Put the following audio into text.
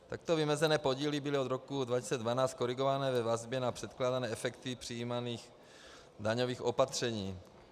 Takto vymezené podíly byly od roku 2012 korigované ve vazbě na předpokládané efekty přijímaných daňových opatření.